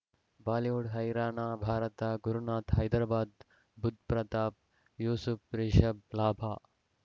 Bollywood ಹೈರಾಣ ಭಾರತ ಗುರುನಾಥ ಹೈದರಾಬಾದ್ ಬುಧ್ ಪ್ರತಾಪ್ ಯೂಸುಫ್ ರಿಷಬ್ ಲಾಭ